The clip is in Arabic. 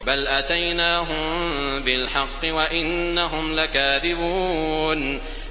بَلْ أَتَيْنَاهُم بِالْحَقِّ وَإِنَّهُمْ لَكَاذِبُونَ